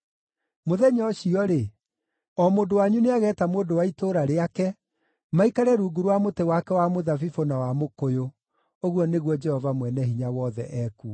“ ‘Mũthenya ũcio-rĩ, o mũndũ wanyu nĩageeta mũndũ wa itũũra rĩake maikare rungu rwa mũtĩ wake wa mũthabibũ na wa mũkũyũ,’ ” ũguo nĩguo Jehova Mwene-Hinya-Wothe ekuuga.